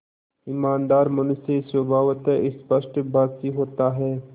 ईमानदार मनुष्य स्वभावतः स्पष्टभाषी होता है